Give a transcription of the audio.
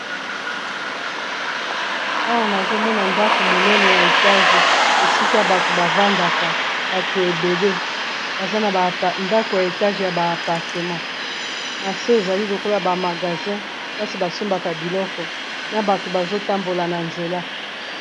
Awa nazomona ndako monene ya etage esika bato bavandaka bato ebd baza na ndako ya etage, ya ba apartemant na se ezali lokola bamagasin mpasi basombaka biloko na bato bazotambola na nzela.